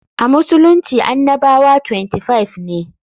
A Musulunci annabawa 25 ne.